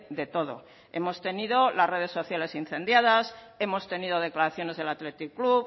de todo hemos tenido las redes sociales incendiadas hemos tenido declaraciones del athletic club